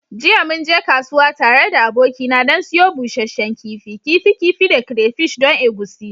Jiya mun je kasuwa tare da abokina don siyo busasshen kifi, kifi kifi da crayfish don egusi.